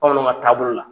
Bamananw ka taabolo la